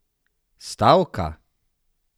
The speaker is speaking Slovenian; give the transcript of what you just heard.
Stavka?